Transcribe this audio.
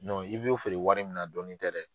Don i be o feere wɔri min na dɔɔnin tɛ dɛ.